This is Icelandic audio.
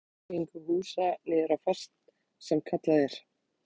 Er betra að fara með jarðtengingu húsa niður á fast sem kallað er?